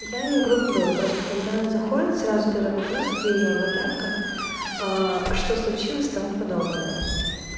я не грублю просто когда она заходит сразу первый вопрос где её аватарка что случилось тому подобное